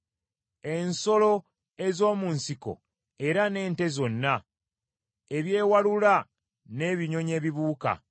ensolo ez’omu nsiko era n’ente zonna, ebyewalula n’ebinyonyi ebibuuka,